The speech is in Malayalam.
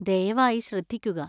ദയവായി ശ്രദ്ധിക്കുക.